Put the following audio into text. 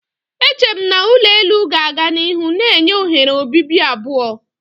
Eche m na ulo elu ga-aga n'ihu na-enye oghere obibi abụọ.